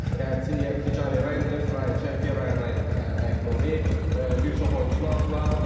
Yəni Render, Ryan Çerki, Ryan Ayit Nuri, bir çox oyunçunu aldılar.